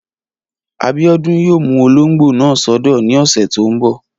Abíọ́dún yóò mú olóngbò náà sọ́dọ̀ ní ọ̀sẹ̀ tó n bọ̀